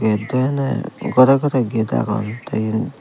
iyot dw ene ghore ghore ged agon te iyen.